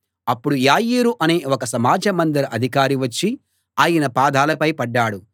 అప్పుడు యాయీరు అనే ఒక సమాజ మందిర అధికారి వచ్చి ఆయన పాదాలపై పడ్డాడు